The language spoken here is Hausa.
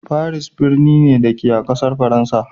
Paris birni ne, da ke a ƙasar Faransa.